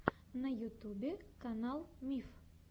на ютьюбе канал миф